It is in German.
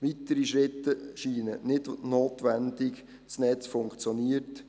Weitere Schritte scheinen nicht notwendig, das Netz funktioniert.